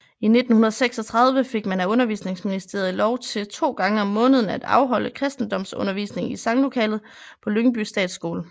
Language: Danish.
I 1936 fik man af undervisningsministeriet lov til to gange om måneden at afholde kristendomsundervisning i sanglokalet på Lyngby Statsskole